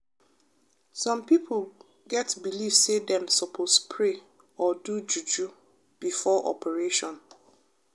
some pipo get belief say dem sopose pray or do juju before operation.